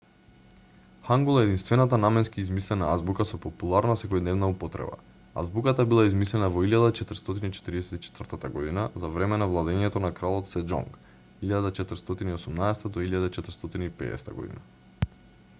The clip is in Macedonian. хангул е единствената наменски измислена азбука со популарна секојдневна употреба. азбуката била измислена во 1444 г. за време на владеењето на кралот сеџонг 1418-1450 г.